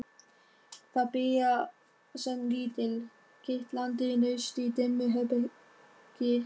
Það byrjar sem lítill, kitlandi neisti í dimmu herbergi.